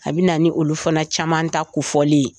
A bɛna ni olu fana caman ta kofoli ye